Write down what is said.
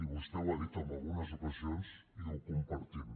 vostè ho ha dit en algunes ocasions i ho compartim